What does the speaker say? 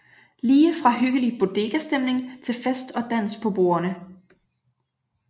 Lige fra hyggelig bodegastemning til fest og dans på bordene